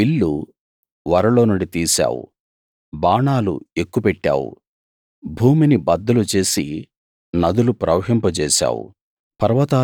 విల్లు వరలోనుండి తీశావు బాణాలు ఎక్కుపెట్టావు భూమిని బద్దలు చేసి నదులు ప్రవహింపజేశావు